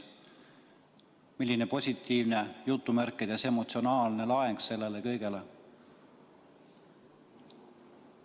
Milline on "positiivne" emotsionaalne laeng sellele kõigele?